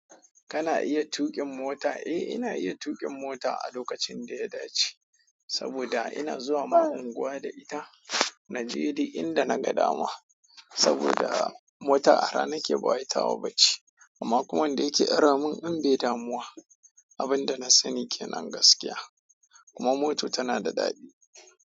Kana iya tuƙin mota? Eh, ina iya tuƙin mota a lokacin da ya dace saboda ina zuwa ma unguwa da ita. Naje di inda naga dama saboda mota ara nake bawai tawa bace, amma kuma wanda yake ara min in bai damu wa abin da na sani ke nan gaskiya kuma moto tana da daɗi.